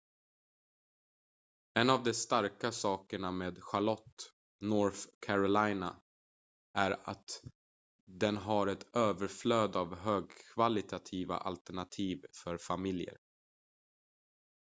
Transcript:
en av de starka sakerna med charlotte north carolina är att den har ett överflöd av högkvalitativa alternativ för familjer